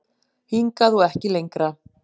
Hingað og ekki lengra